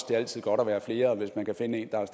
det er altid godt at være flere og hvis man kan finde en der er